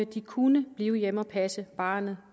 de kunne blive hjemme og passe barnet